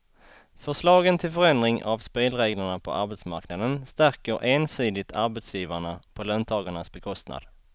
Förslagen till förändring av spelreglerna på arbetsmarknaden stärker ensidigt arbetsgivarna på löntagarnas bekostnad.